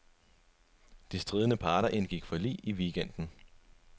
De stridende parter indgik forlig i weekenden.